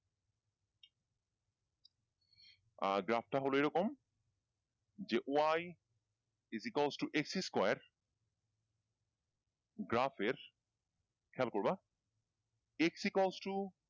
আহ graph টা হলো এই রকম যে Y is equal to X square